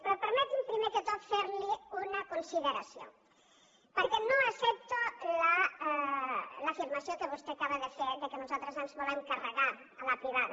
però permeti’m primer de tot fer li una consideració perquè no accepto l’afirmació que vostè acaba de fer que nosaltres ens volem carregar la privada